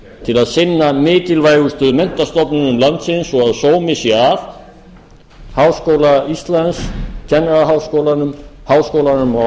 til að sinna mikilvægustu menntastofnunum landsins svo að sómi sé að háskóla íslands kennaraháskólanum háskólanum á